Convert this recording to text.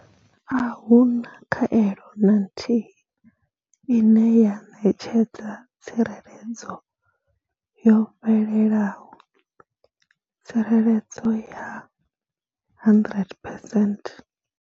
Ahuna khaelo na nthihi ine ya ṋetshedza tsireledzo yo fhelelaho tsireledzo ya 100 percent.